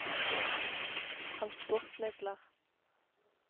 transportmidler